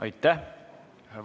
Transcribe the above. Aitäh!